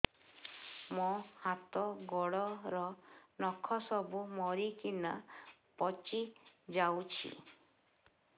ମୋ ହାତ ଗୋଡର ନଖ ସବୁ ମରିକିନା ପଚି ଯାଉଛି